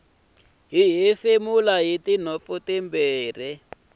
hi hefemula hitinhompfu timbirhi